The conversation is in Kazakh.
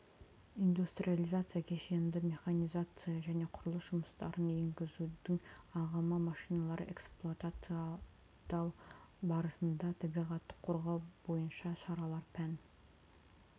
индустриализация кешенді механизация және құрылыс жұмыстарын енгізудің ағымы машиналарды эксплуатациядау барысында табиғатты қорғау бойынша шаралар пән